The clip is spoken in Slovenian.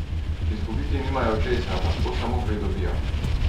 Izgubiti nimajo česa, lahko samo pridobijo.